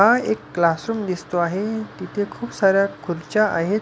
हा एक क्लासरूम दिसतो आहे तिथे खुप साऱ्या खुर्च्या आहेत.